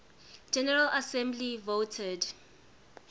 general assembly voted